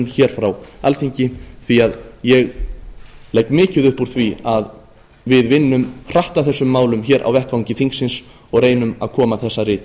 hér frá alþingi því að ég legg mikið upp úr því að við vinnum hratt að þessum málum hér á vettvangi þingsins og reynum að koma þessari